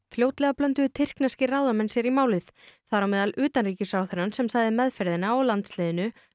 fljótlega blönduðu tyrkneskir ráðamenn sér í málið þar á meðal utanríkisráðherrann sem sagði meðferðina á landsliðinu